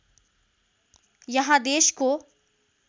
यहाँ देशको